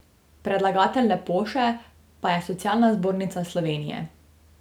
Predlagatelj Lepoše pa je Socialna zbornica Slovenije.